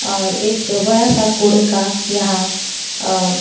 और एक बड़ा सा कोड़े का यहां अह--